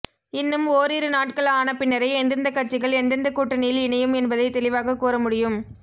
இன்னும் ஓரிரு நாட்கள் ஆனபின்னரே எந்தெந்த கட்சிகள் எந்தெந்த கூட்டணியில் இணையும் என்பதை தெளிவாக கூறமுடியும்